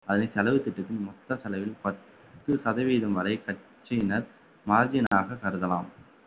அதனை செலவு திட்டத்தின் மொத்த செலவில் பத்து சதவீதம் வரை கட்சியினர் margin ஆக கருதலாம்